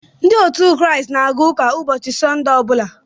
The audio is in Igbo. Ndị Kraịst na-aga ụka ụbọchị Sọnde ọbụla